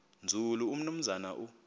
nzulu umnumzana u